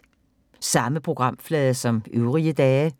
Samme programflade som øvrige dage